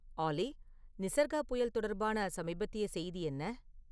ஆல்லி நிசர்கா புயல் தொடர்பான சமீபத்திய செய்தி என்ன?